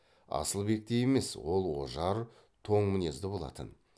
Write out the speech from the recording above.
асылбектей емес ол ожар тоң мінезді болатын